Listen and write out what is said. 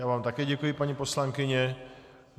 Já vám také děkuji, paní poslankyně.